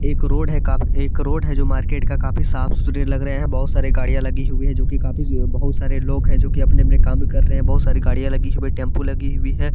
एक रोड है जो मार्केट का काफी साफ-सुथरा लग रहे है बहोत -सारी गड़िया लगी हुई है जो की बहोत सारे लोग है जो की अपने-अपने काम कर रहे हैबहुत-सारी गड़िया लगी हुई है टेंपू लगी हुई है।